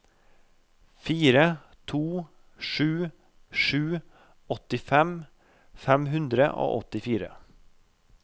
fire to sju sju åttifem fem hundre og åttifire